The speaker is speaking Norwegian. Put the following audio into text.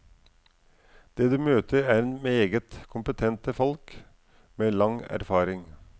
Det du møter, er meget kompetente folk med lang erfaring.